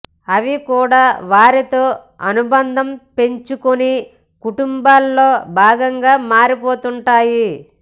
అవి కూడా వారితో అనుబంధం పెంచు కుని కుటుంబంలో భాగంగా మారిపోతుంటాయి